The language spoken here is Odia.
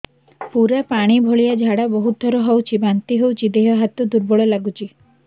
ପୁରା ପାଣି ଭଳିଆ ଝାଡା ବହୁତ ଥର ହଉଛି ବାନ୍ତି ହଉଚି ଦେହ ହାତ ଦୁର୍ବଳ ଲାଗୁଚି